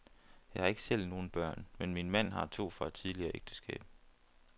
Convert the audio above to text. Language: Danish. Jeg har ikke selv nogen børn, men min mand har to fra et tidligere ægteskab.